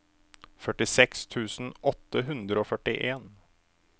førtiseks tusen åtte hundre og førtien